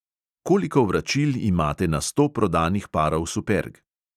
Koliko vračil imate na sto prodanih parov superg?